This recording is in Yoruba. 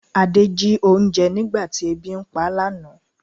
Ade jí oúnjẹ nígbà tí ebi ń pá lánàá